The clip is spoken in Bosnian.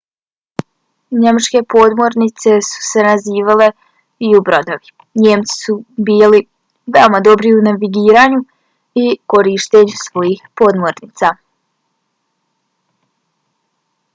njemačke podmornice su se nazivale u-brodovi. njemci su bili veoma dobri u navigiranju i korištenju svojih podmornica